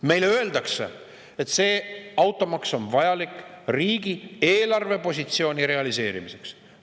Meile öeldakse, et automaks on vajalik riigi eelarvepositsiooni.